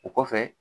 O kɔfɛ